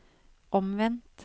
omvendt